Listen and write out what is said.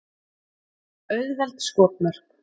Auðveld skotmörk.